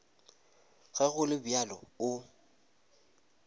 ge go le bjalo o